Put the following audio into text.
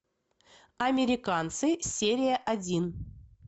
американцы серия один